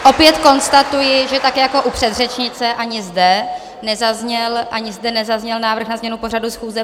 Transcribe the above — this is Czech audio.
Opět konstatuji, že tak jako u předřečnice, ani zde nezazněl návrh na změnu pořadu schůze.